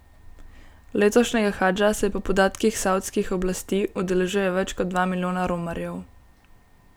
Letošnjega hadža se po podatkih savdskih oblasti udeležuje več kot dva milijona romarjev.